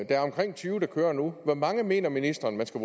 er omkring tyve der kører nu hvor mange mener ministeren man skal